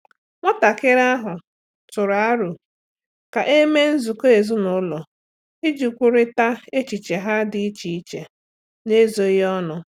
Nwatakịrị ahụ tụrụ aro ka e mee nzukọ ezinụlọ iji kwurịta echiche ha dị iche iche n'ezoghị ọnụ.